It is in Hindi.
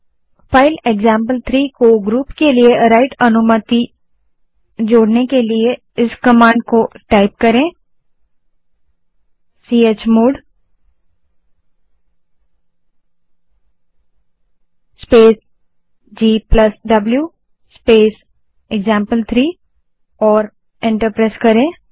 फाइल एक्जाम्पल3 को ग्रुप के लिए राइट अनुमति जोड़ने के लिए इस command chmod space gw space एक्जाम्पल3 को टाइप करें और एंटर दबायें